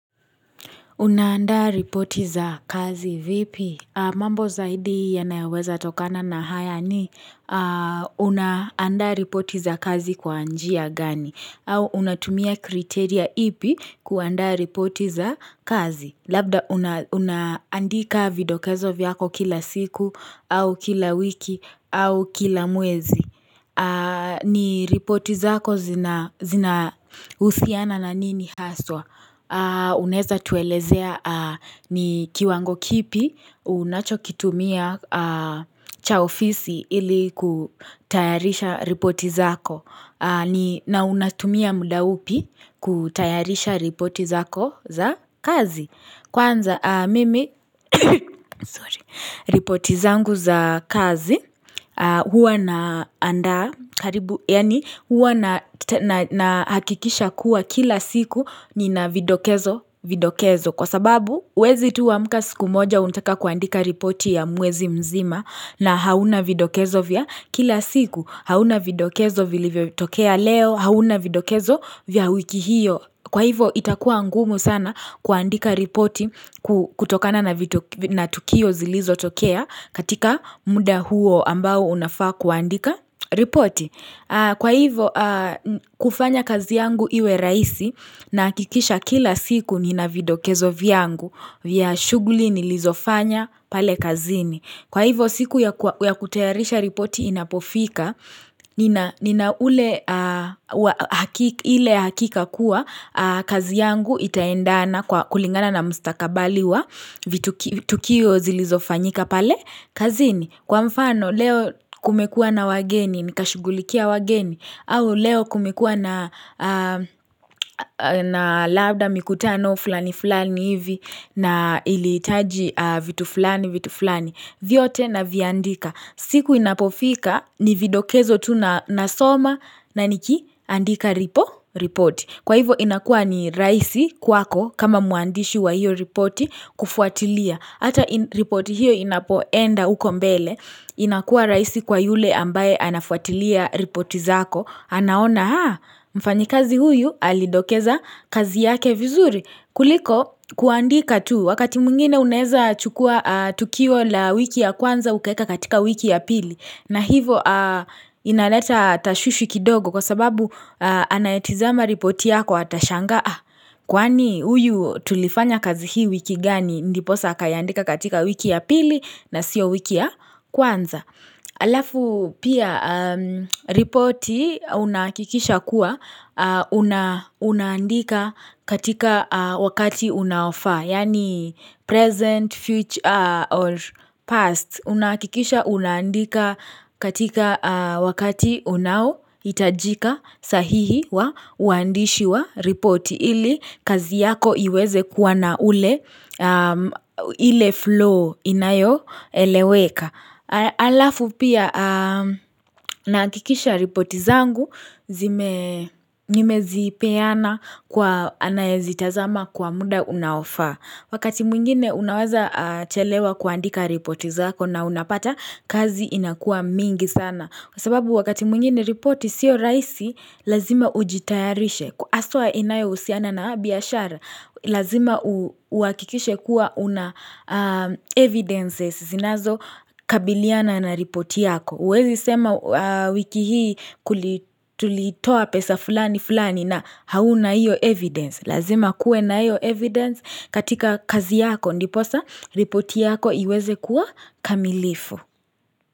Unaanda ripoti za kazi vipi? Mambo zaidi ya nayaweza tokana na haya ni unaanda ripoti za kazi kwa anjia gani. Au unatumia kriteria ipi kuanda ripoti za kazi. Labda unaandika video kezo viako kila siku au kila wiki au kila mwezi. Ni ripoti zako zinahusiana na nini haswa Uneza tuelezea ni kiwango kipi unacho kitumia cha ofisi ili kutayarisha ripoti zako na unatumia muda upi kutayarisha ripoti zako za kazi Kwanza mimi sorry ripoti zangu za kazi huwa na hakikisha kuwa kila siku ni na vidokezo kwa sababu wezi tuwa mkasi kumoja untaka kuandika ripoti ya mwezi mzima na hauna vidokezo vya kila siku hauna vidokezo vile vitokea leo hauna vidokezo vya wiki hiyo Kwa hivo itakuwa angumu sana kuandika ripoti kutokana na tukio zilizo tokea katika muda huo ambao unafaa kuandika ripoti Kwa hivo kufanya kazi yangu iwe raisi na kikisha kila siku nina vidokezo viangu yya shuguli nilizofanya pale kazini Kwa hivo siku ya kutearisha ripoti inapofika Nina ule hiki kakua kazi yangu itaendana kwa kulingana na mstakabaliwa vitu kio zilizofanyika pale kazini kwa mfano leo kumekua na wageni nikashugulikia wageni au leo kumekua na lauda mikutano fulani fulani hivi na ilitaji vitu fulani vitu fulani vyote na viandika siku inapofika ni vidokezo tu na soma na niki andika ripo report Kwa hivo inakua ni raisi kwako kama muandishi wa hiyo report kufuatilia Hata ripoti hiyo inapoenda uko mbele inakuwa raisi kwa yule ambaye anafuatilia ripoti zako anaona haa Mfanyikazi huyu alidokeza kazi yake vizuri kuliko kuandika tu wakati mungine uneza chukua tukiwa la wiki ya kwanza ukeka katika wiki ya pili na hivo inaleta tashushi kidogo Kwa sababu anayetizama ripoti yako atashanga Kwani uyu tulifanya kazi hii wiki gani ndipo saka yaandika katika wiki ya pili na sio wiki ya kwanza alafu pia reporti unakikisha kuwa unandika katika wakati unaofa yani present, future or past Unakikisha unandika katika wakati unawo itajika sahihi wa wandishi wa ripoti ili kazi yako iweze kuwana ule ili flow inayo eleweka. Alafu pia nakikisha ripoti zangu nimezipeana kwa anayezitazama kwa muda unawafa. Wakati mwingine unawaza chelewa kuandika ripoti zako na unapata kazi inakua mingi sana. Kwa sababu wakati mwingine ripoti siyo rahisi, lazima ujitayarishe. Kuaswa inayo usiana na biyashara, lazima uakikishe kuwa una evidences zinazo kabiliana na ripoti yako. Uwezi sema wiki hii tulitoa pesa fulani fulani na hauna iyo evidence. Lazima kuwe na ayo evidence katika kazi yako ndiposa, ripoti yako iweze kuwa kamilifu.